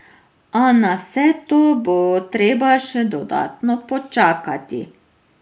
A na vse to bo treba še dodatno počakati.